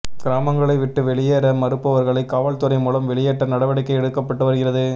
கிராமங்களை விட்டு வெளியேற மறுப்பவர்களை காவல்துறை மூலம் வெளியேற்ற நடவடிக்கை எடுக்கப்பட்டுவருகிறது